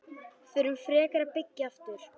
Förum frekar að byggja aftur.